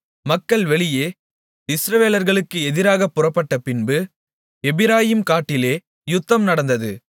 மக்கள் வெளியே இஸ்ரவேலர்களுக்கு எதிராகப் புறப்பட்டபின்பு எப்பிராயீம் காட்டிலே யுத்தம் நடந்தது